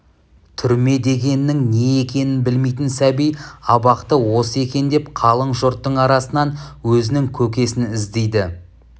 түрме дегеннің не екенін білмейтін сәби абақты осы екен деп қалың жұрттың арасынан өзінің көкесін іздейді